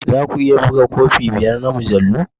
Za ku iya buga kofi biyar na mujallu?